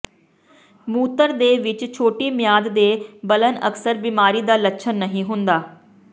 ਮੂਤਰ ਦੇ ਵਿੱਚ ਛੋਟੀ ਮਿਆਦ ਦੇ ਬਲਨ ਅਕਸਰ ਬਿਮਾਰੀ ਦਾ ਲੱਛਣ ਨਹੀਂ ਹੁੰਦਾ